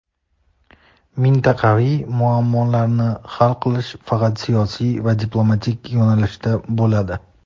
mintaqaviy muammolarni hal qilish faqat siyosiy va diplomatik yo‘nalishda bo‘ladi.